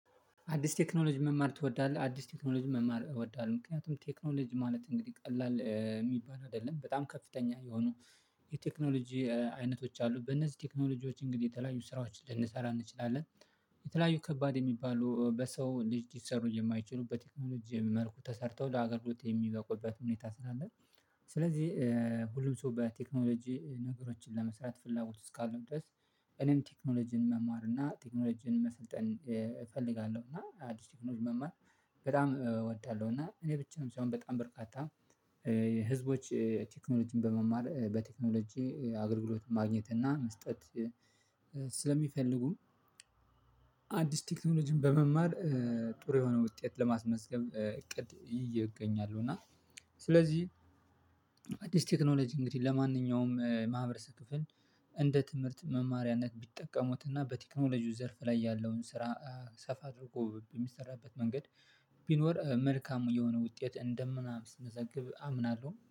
አዲስ ቴክኖሎጂ መማር ትወዳለህ? አዲስ ቴክኖሎጂ መማር እወዳለሁ። ምክንያቱም ቴክኖሎጂ ማለት እንግዲህ ቀላል የሚባል አይደለም በጣም ከፍተኛ የሆኑ የቴክኖሎጂ አይነቶች አሉ በእነዚህ ቴክኖሎጂዎች እንግዲህ የተለያዩ ስራዎችን ልንሰራ እንችላለን። የተለያዩ ከባድ የሚባሉ በሰው ልጅ ሊሰሩ የማይችሉበት ቴክኖሎጂ መልኩ ተሰርተው ለሀገር ግልጽ የሚበቁበት ሁኔታ ስላለ። ስለዚህ ሁሉም ሰው በቴክኖሎጂ ነገሮችን ለመስራት ፍላጎት እስካሉን ድረስ እኔም ቴክኖሎጂን መማር እና ቴክኖሎጂን መሰልጠን እፈልጋለሁ። እና አዲስ ቴክኖሎጂ መማር በጣም እወዳለሁ። እና እኔ ብቻም ሳይሆን በጣም በርቃታ ህዝቦች ቴክኖሎጂን በመማር በቴክኖሎጂ አገልግሎት ማግኘት እና መስጠት። ስለሚፈልጉም አዲስ ቴክኖሎጂን በመማር ጥሩ የሆነ ውጤት ለማስመስገብ እቅድ ይዤ እገኛለሁ። እና ስለዚህ አዲስ ቴክኖሎጂ እንግዲህ ለማንኛውም ማህበረሰብ ክፍል እንደ ትምህርት መማሪያነት ቢጠቀሙትና በቴክኖሎጂው ዘርፍ ላይ ያለውን ስራ ሰፋ አድርጎ በሚሰራበት መንገድ ቢኖር መልካም የሆነ ውጤት እንደ ምናምን ስንዘግብ አምናለሁ